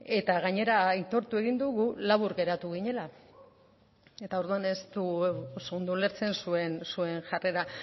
eta gainera aitortu egin dugu labur geratu ginela eta orduan ez dugu oso ondo ulertzen zuen jarrera